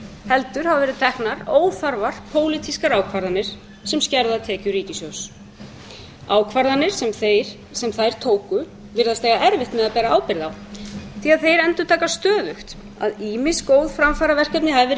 heldur hafa verið teknar óþarfar pólitískar ákvarðanir sem skerða tekjur ríkissjóðs ákvarðanir sem þeir sem þær tóku virðast eiga erfitt með að bera ábyrgð á því að þeir endurtaka stöðugt að ýmis góð framfaraverkefni hafi verið reist